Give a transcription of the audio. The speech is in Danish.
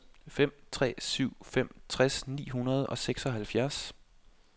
fem tre syv fem tres ni hundrede og seksoghalvfjerds